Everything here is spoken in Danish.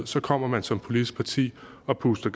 så kommer man som politisk parti og puster